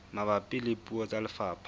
mabapi le puo tsa lefapha